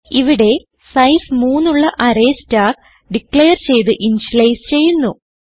ഇവിടെ സൈസ് 3 ഉള്ള array star declare ചെയ്ത് ഇനിഷ്യലൈസ് ചെയ്യുന്നു